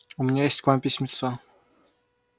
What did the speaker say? у меня есть к вам письмецо